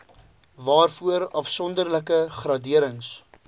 waarvoor afsonderlike graderings